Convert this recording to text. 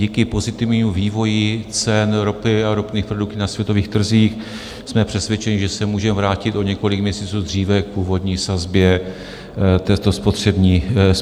Díky pozitivnímu vývoji cen ropy a ropných produktů na světových trzích jsme přesvědčeni, že se můžeme vrátit o několik měsíců dříve k původní sazbě této spotřební daně.